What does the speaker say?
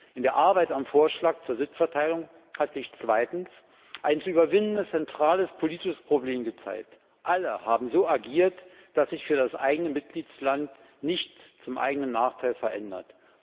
Bei der Arbeit am Vorschlag zur Sitzverteilung hat sich zweitens ein zu überwindendes zentrales politisches Problem gezeigt Alle haben so agiert, dass sich für das eigene Mitgliedsland nichts zum eigenen Nachteil verändert.